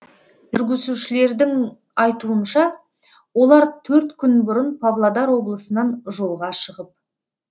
жүргізушілердің айтуынша олар төрт күн бұрын павлодар облысынан жолға шығып